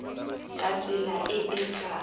ka tsela e e sa